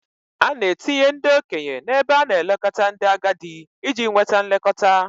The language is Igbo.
A na-etinye ndị okenye n'ebe a na-elekọta ndị agadi iji nweta nlekọta.